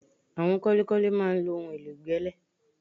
Àwọn kọ́lékọ́lé máa ń lo ohun èlò ìgbẹ́lẹ̀